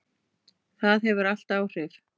Það hefur allt áhrif.